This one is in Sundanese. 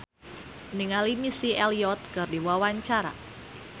Tata Janeta olohok ningali Missy Elliott keur diwawancara